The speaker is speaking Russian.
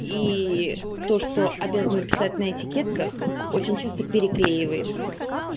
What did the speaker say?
и то что обязана писать на этикетках очень часто переклеивается